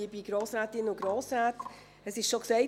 Es wurde schon gesagt: